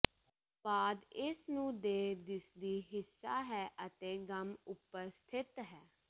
ਬਾਅਦ ਇਸ ਨੂੰ ਦੇ ਦਿਸਦੀ ਹਿੱਸਾ ਹੈ ਅਤੇ ਗਮ ਉਪਰ ਸਥਿਤ ਹੈ